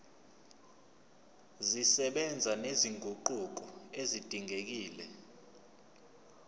zisebenza nezinguquko ezidingekile